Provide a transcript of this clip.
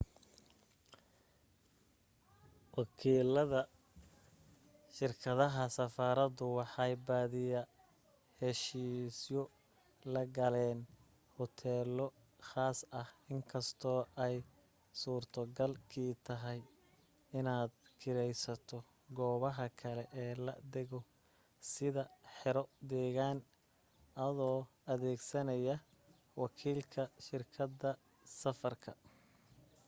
wakiilada shirkadaha safaradu waxay badiyaa heshiisyo la galaan huteelo khaas ah inkastoo ay suurto gal kii tahay inaad kiraysato goobaha kale ee la dego sida xero deegaan adoo adeegsanaya wakiilka shirkada safarka